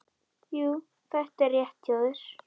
Jú, þetta er rétt hjá þér.